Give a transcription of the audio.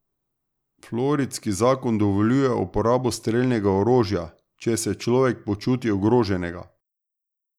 Floridski zakon dovoljuje uporabo strelnega orožja, če se človek počuti ogroženega.